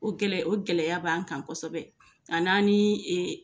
O gɛlɛ o gɛlɛyaya b'an kan kosɛbɛ an' an ni ɛ